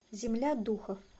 земля духов